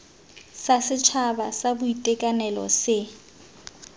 sa setšhaba sa boitekanelo se